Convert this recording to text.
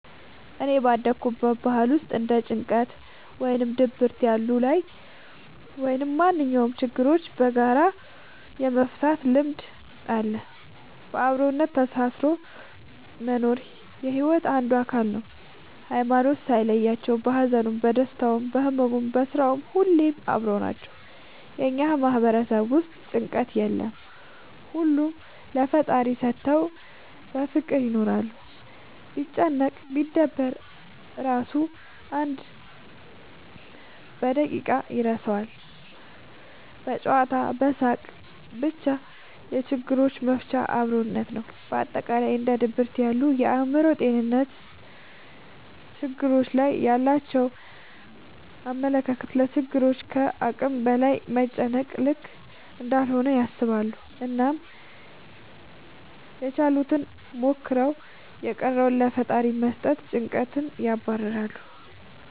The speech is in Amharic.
እኔ ባደኩበት ባህል ውስጥ እንደ ጭንቀት ወይም ድብርት ያሉ ላይ ወይም ማንኛውም ችግሮችን በጋራ የመፍታት ልምድ አለ። በአብሮነት ተሳስሮ መኖር የሒወት አንዱ አካል ነው። ሀይማኖት ሳይለያቸው በሀዘኑም በደስታውም በህመሙም በስራውም ሁሌም አብረው ናቸው። እኛ ማህበረሰብ ውስጥ ጭንቀት የለም ሁሉንም ለፈጣሪ ሰተው በፍቅር ይኖራሉ። ቢጨነቅ ቢደበር እራሱ አንድ በደቂቃ ይረሳል በጨዋታ በሳቅ በቻ የችግሮች መፍቻችን አብሮነት ነው። በአጠቃላይ እንደ ድብርት ያሉ የአእምሮ ጤንነት ትግሎች ላይ ያላቸው አመለካከት ለችግሮች ከአቅም በላይ መጨነቅ ልክ እንዳልሆነ ያስባሉ አናም ያችሉትን ሞክረው የቀረውን ለፈጣሪ በመስጠት ጨንቀትን ያባርራሉ።